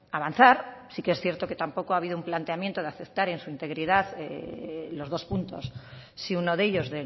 avanzar sí que es cierto que tampoco ha habido un planteamiento de aceptar en su integridad los dos puntos sí uno de ellos